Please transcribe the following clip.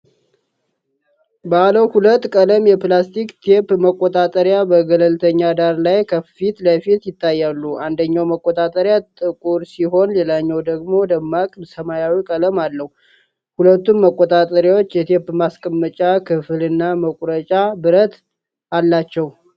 ባለ ሁለት ቀለም የፕላስቲክ ቴፕ መቆጣጠሪያዎች በገለልተኛ ዳራ ላይ ከፊት ለፊት ይታያሉ። አንደኛው መቆጣጠሪያ ጥቁር ሲሆን፣ ሌላኛው ደግሞ ደማቅ ሰማያዊ ቀለም አለው። ሁለቱም መቆጣጠሪያዎች የቴፕ ማስቀመጫ ክፍልና መቁረጫ ብረት አላቸው።